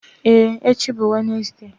Ee echi bụ Wenezde.